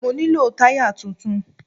Mo nílò táyà tuntun.